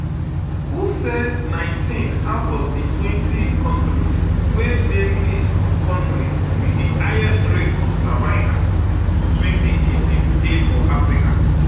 who um say 19 out of di [um]twentykontris wey dey list of kontris wit di highest rates of cervical for 2018 dey for africa